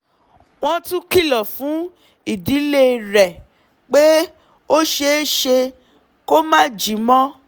wọ́n tún kìlọ̀ fún ìdílé rẹ̀ pé ó ṣeé ṣe kó máà jí mọ́